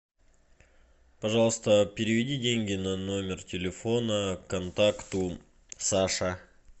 пожалуйста переведи деньги на номер телефона контакту саша